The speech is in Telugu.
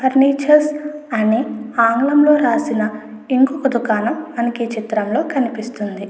ఫర్నిచర్ అని ఆంగ్లంలో రాసిన ఇంకొక దుకాణం మనకి కనిపిస్తుంది.